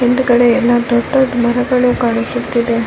ಇಲ್ಲಿ ನೀರಿನ ಬಣ್ಣ ಹಸಿರು ಮತ್ತು ಕಪ್ಪಾಗಿ ಕಾಣುತ್ತಿದೆ .